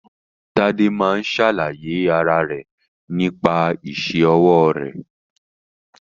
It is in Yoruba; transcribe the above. Tade máa ń ṣàlàyé ara rẹ nípa isẹ́ ọwọ́ rẹ̀.